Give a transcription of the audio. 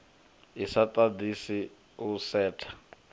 i sa ḓaḓisi u setha